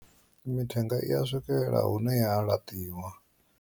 Mithenga i ya swikelela hune ya laṱiwa.